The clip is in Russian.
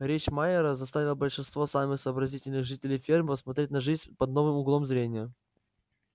речь майера заставила большинство самых сообразительных жителей фермы посмотреть на жизнь под новым углом зрения